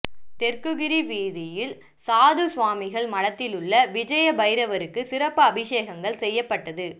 தெற்குகிரி வீதியில் சாது சுவாமிகள் மடத்திலுள்ள விஜய பைரவருக்கு சிறப்பு அபிஷேகங்கள் செய்யப்பட்டது